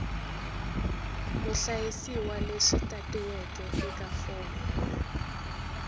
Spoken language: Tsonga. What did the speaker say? muhlayisiwa lexi tatiweke eka fomo